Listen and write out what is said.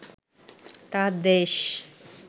তাঁর দেশ